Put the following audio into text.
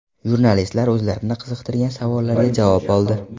Jurnalistlar o‘zlarini qiziqtirgan savollarga javob oldi.